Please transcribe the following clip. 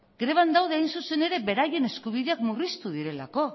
greban daude hain zuzen ere beraien eskubideak murriztu direlako